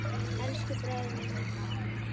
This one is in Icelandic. Elsku bróðir minn er farinn.